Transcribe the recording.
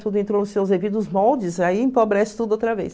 Tudo entrou nos seus devidos moldes, aí empobrece tudo outra vez.